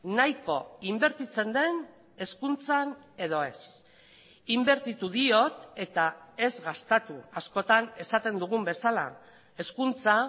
nahiko inbertitzen den hezkuntzan edo ez inbertitu diot eta ez gastatu askotan esaten dugun bezala hezkuntza